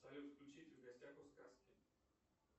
салют включить в гостях у сказки